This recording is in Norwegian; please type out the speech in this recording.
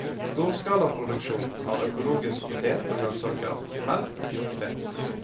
Storskalaproduksjon av økologisk potet og grønnsaker, melk og kjøttfe.